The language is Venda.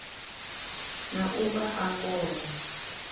na u vha a ngoho